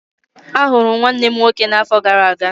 Ahụrụ m nwanne m nwoke n'afọ gara aga.